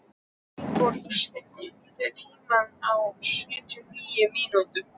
Vilborg, stilltu tímamælinn á sjötíu og níu mínútur.